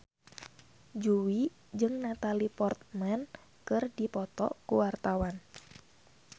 Jui jeung Natalie Portman keur dipoto ku wartawan